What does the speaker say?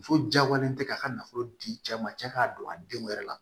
Muso jagoyalen tɛ k'a ka nafolo di cɛ ma cɛ k'a don a denw yɛrɛ la